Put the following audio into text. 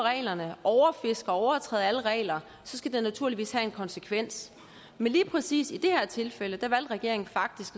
alle regler og så skal det naturligvis have en konsekvens men lige præcis i det her tilfælde valgte regeringen faktisk